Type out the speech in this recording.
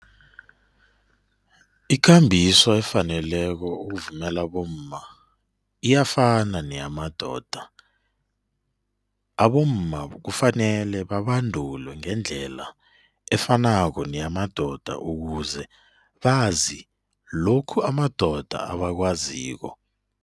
Ikambiso efaneleko ukuvumela abomma iyafana neyamadoda. Abomma kufanele babandulwe ngendlela efanako neyamadoda ukuze bazi lokhu amadoda abakwaziko.